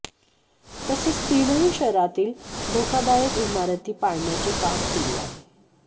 तसेच तीनही शहरातील धोकादायक इमारती पाडण्याचे काम सुरू आहे